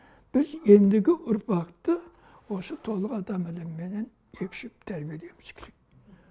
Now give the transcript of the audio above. біз ендігі ұрпақты осы толық адам ілімімен екшеп тәрбиелеуіміз керек